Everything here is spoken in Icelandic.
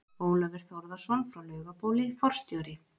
Ólafur Þórðarson frá Laugabóli, forstjóri